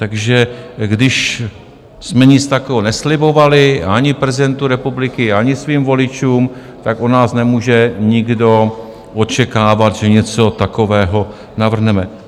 Takže když jsme nic takového neslibovali ani prezidentu republiky, ani svým voličům, tak od nás nemůže nikdo očekávat, že něco takového navrhneme.